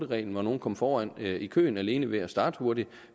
reglen hvor nogle kom foran i køen alene ved at starte hurtigt